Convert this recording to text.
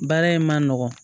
Baara in ma nɔgɔn